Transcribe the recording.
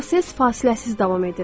Bu proses fasiləsiz davam edir.